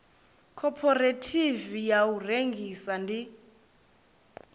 khophorethivi ya u rengisa ndi